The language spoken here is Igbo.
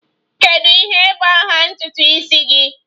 Kedu ihe bụ aha ntutu isi gị?